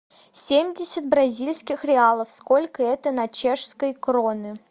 семьдесят бразильских реалов сколько это на чешской кроны